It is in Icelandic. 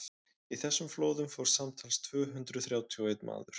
í þessum flóðum fórst samtals tvö hundruð þrjátíu og einn maður